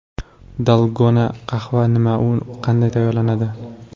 Dalgona qahva nima va u qanday tayyorlanadi?.